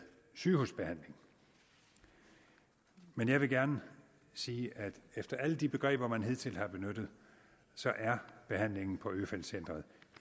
sygehusbehandling men jeg vil gerne sige at efter alle de begreber man hidtil har benyttet er behandlingen på øfeldt centret